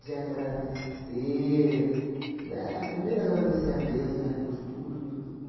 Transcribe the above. de agradecer éh... Primeiro agradecer a Deus, né, por tudo, por